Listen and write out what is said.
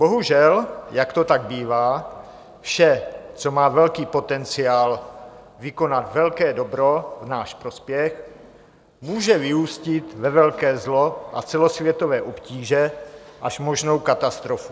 Bohužel, jak to tak bývá, vše, co má velký potenciál vykonat velké dobro v náš prospěch, může vyústit ve velké zlo a celosvětové obtíže až možnou katastrofu.